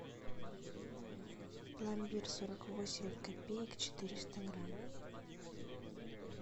пломбир сорок восемь копеек четыреста грамм